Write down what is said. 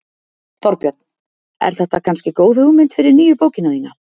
Þorbjörn: Er þetta kannski góð hugmynd fyrir nýju bókina þína?